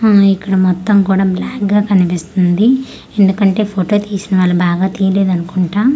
ఉమ్ ఇక్కడ మొత్తం కుడ బ్లాక్ గా కనిపిస్తుంది ఎందుకంటె ఫోటో తీసిన వాళ్ళు బాగా తీలేదనుకొంటా.